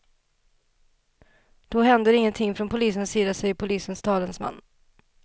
Då händer ingenting från polisens sida, säger polisens talesman.